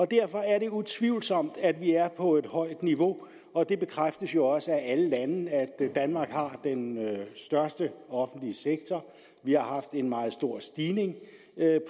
derfor er det utvivlsomt at vi er på et højt niveau og det bekræftes jo også af alle lande at danmark har den største offentlige sektor vi har haft en meget stor stigning